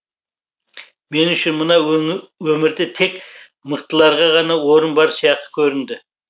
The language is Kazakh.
мен үшін мына өмірде тек мықтыларға ғана орын бар сияқты көрінді